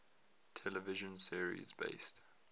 television series based